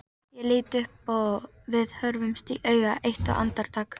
Ég lít upp og við horfumst í augu eitt andartak.